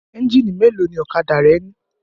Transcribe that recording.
Ẹ́ńjínì mélòó ni ọ̀kadà rẹ ní?